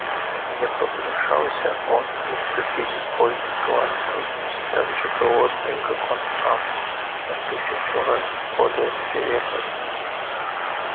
не погнушался он и вступить в бой с лаской такой же голодной как он сам но в тысячу раз более свирепой